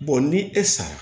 ni e sara